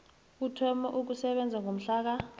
uthome ukusebenza ngomhlaka